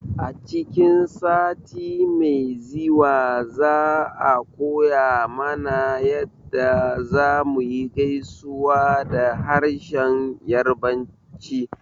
A cikin sati mai ziwa za a koya mana yadda zamuyi gaisuwa da harshen yarbanci